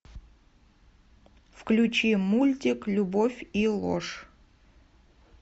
включи мультик любовь и ложь